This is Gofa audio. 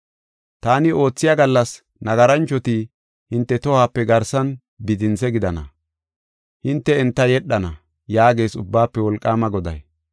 Taani oothiya gallas, nagaranchoti hinte tohope garsan bidinthe gidana; hinte enta yedhana” yaagees Ubbaafe Wolqaama Goday.